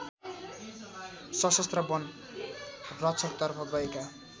सशस्त्र वन रक्षकतर्फ गएका